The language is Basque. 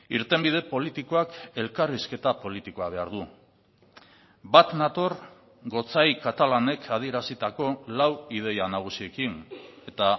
irtenbide politikoak elkarrizketa politikoa behar du bat nator gotzai katalanek adierazitako lau ideia nagusiekin eta